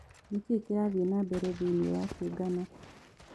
ni kĩĩ kirathĩe nambere thĩĩni wa kĩungano